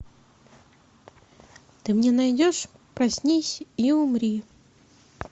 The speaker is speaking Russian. ты мне найдешь проснись и умри